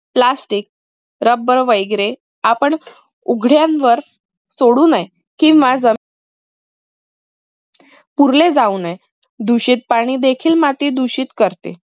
plasticrubber वैगरे आपण उघड्यांवर सोडू नये किंव्हा जर पुरले जाऊ नये. दूषित पाणी देखील माती दूषित करते.